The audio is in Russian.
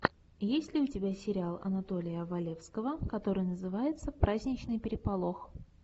есть ли у тебя сериал анатолия валевского который называется праздничный переполох